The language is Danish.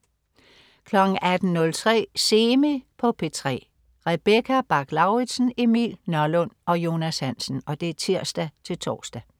18.03 Semi på P3. Rebecca Bach-Lauritsen, Emil Nørlund og Jonas Hansen (tirs-tors)